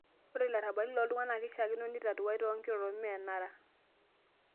Ore larabali loo ltung'ana na keishaakino nitatuai too nkirorot mme enara